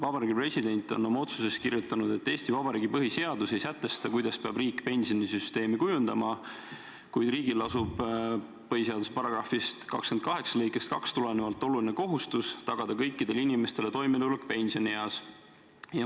Vabariigi President on oma otsuses kirjutanud, et Eesti Vabariigi põhiseadus ei sätesta, kuidas peab riik pensionisüsteemi kujundama, kuid riigil lasub põhiseaduse § 28 lõikest 2 tulenevalt oluline kohustus tagada kõikidele inimestele toimetulek pensionieas.